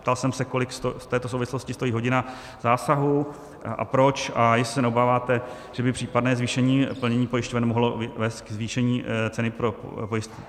Ptal jsem se, kolik v této souvislosti stojí hodina zásahu a proč a jestli se neobáváte, že by případné zvýšení plnění pojišťoven mohlo vést ke zvýšení ceny pro